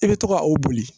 I bɛ to ka o boli